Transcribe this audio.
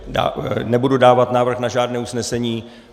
Nebudu dávat návrh na žádné usnesení.